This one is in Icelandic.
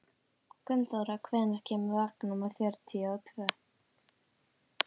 Gunnþóra, hvenær kemur vagn númer fjörutíu og tvö?